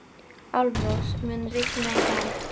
Álfrós, mun rigna í dag?